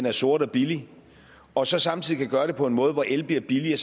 er sort og billig og så samtidig kan gøre det på en måde hvor el bliver billigere